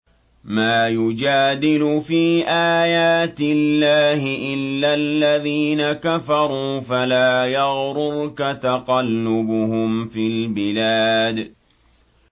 مَا يُجَادِلُ فِي آيَاتِ اللَّهِ إِلَّا الَّذِينَ كَفَرُوا فَلَا يَغْرُرْكَ تَقَلُّبُهُمْ فِي الْبِلَادِ